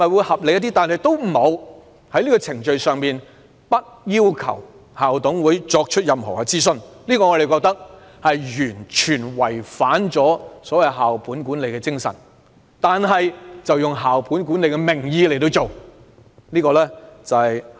可是，政府竟然不要求校董會進行任何諮詢程序，我們認為這是完全違反了校本管理的精神，但卻以校本管理的名義進行。